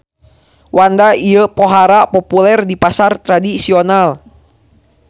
Wanda ieu pohara populer di pasar tradisional.